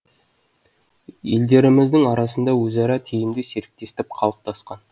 елдеріміздің арасында өзара тиімді серіктестік қалыптасқан